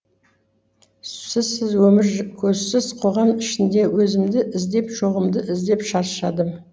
сізсіз өмір көзсіз қоғам ішінде өзімді іздеп жоғымды іздеп шаршадым